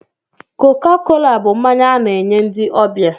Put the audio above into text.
Koko kola bụ mmanya a na-enye ndị ọbịa